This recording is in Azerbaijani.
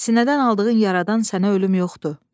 Sinədən aldığın yaradan sənə ölüm yoxdur.